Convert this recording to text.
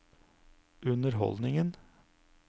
underholdningen